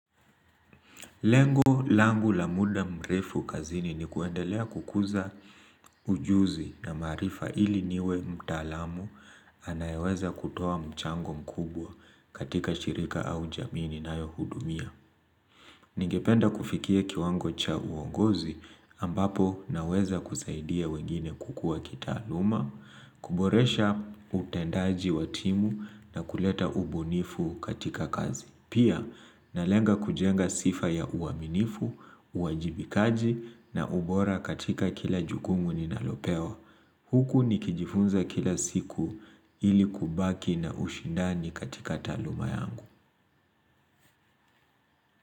Lengo langu la muda mrefu kazini ni kuendelea kukuza ujuzi na maarifa ili niwe mtaalamu anayeweza kutoa mchango mkubwa katika shirika au jamii ninayohudumia. Ningependa kufikia kiwango cha uongozi ambapo naweza kusaidia wengine kukua kita aluma, kuboresha utendaji wa timu, na kuleta ubunifu katika kazi. Pia, nalenga kujenga sifa ya uaminifu, uajibikaji na ubora katika kila jukumu ninalopewa. Hhhh Huku nikijifunza kila siku ili kubaki na ushindani katika taluma yangu hh.